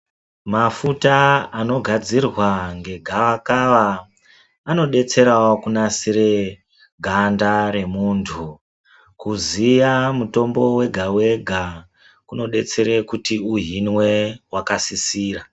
Mafuta anogadzirwa ngegavakava anobetserawo kunatsire ganda remuntu kuziya mutombo wega wega kunobetsere kuti uhinwe kwakasisira .